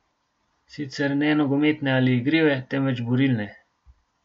Sicer ne nogometne ali igrive, temveč borilne.